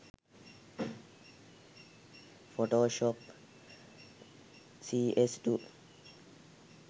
photoshop cs2